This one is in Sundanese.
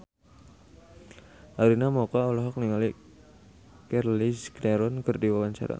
Arina Mocca olohok ningali Charlize Theron keur diwawancara